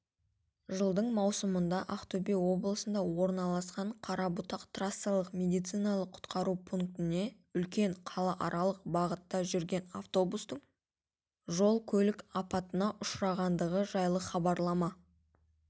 жылдың маусымында ақтөбе облысында орналасқан қарабұтақ трассалық медициналық құтқару пунктіне үлкен қалааралық бағытта жүретін автобустың жол көлік апатына ұшырағандығы жайлы хабарлама